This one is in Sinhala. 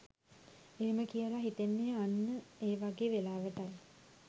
එහෙම කියලා හිතෙන්නේ අන්න ඒ වගේ වෙලාවටයි.